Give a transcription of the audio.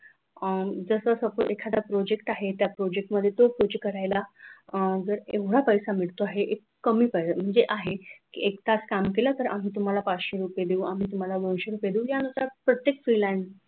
अह जस suppose एखादा project आहे करायला जर एवढा पैसा मिळतो आहे म्हणजे कमी पैसा आहे एक तास काम केलं तर आम्ही तुम्हाला पाचशे रुपये देऊ आम्ही तुम्हाला दोनशे रुपये देऊ यानुसार प्रत्येक freelancer